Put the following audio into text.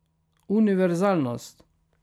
Univerzalnost.